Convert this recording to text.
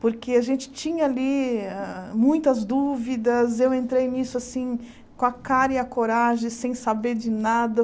Porque a gente tinha ali hâ muitas dúvidas, eu entrei nisso assim com a cara e a coragem, sem saber de nada.